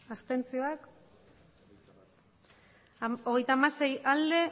botoak hirurogeita hamairu bai hogeita hamasei ez